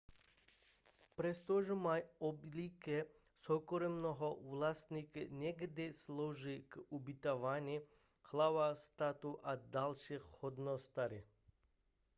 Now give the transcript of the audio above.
přestože mají obvykle soukromého vlastníka někdy slouží k ubytování hlav států a dalších hodnostářů